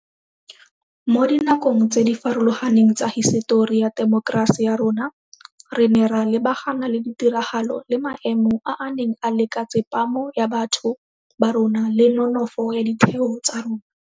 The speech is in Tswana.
Mo dinakong tse di farologaneng tsa hisetori ya temokerasi ya rona, re ne ra lebagana le ditiragalo le maemo a a neng a leka tsepamo ya batho ba rona le nonofo ya ditheo tsa rona.